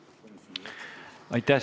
Aitäh!